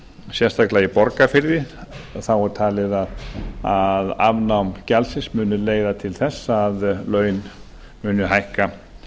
sérstaklega í borgarfirði en þá er talið að afnám gjaldsins muni leiða til þess að laun muni hækka